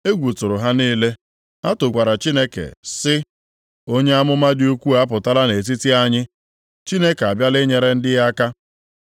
Egwu tụrụ ha niile, ha tokwara Chineke sị, “Onye amụma dị ukwuu apụtala nʼetiti anyị, Chineke abịala inyere ndị ya aka!”